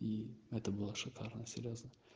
и это было шикарно серьёзно